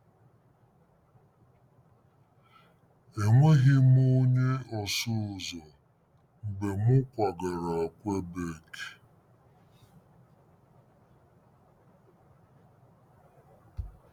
Enweghị m onye ọsụ ụzọ mgbe m kwagara Kwebek.